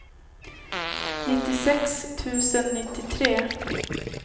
nittiosex tusen nittiotre